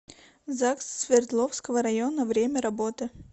загс свердловского района время работы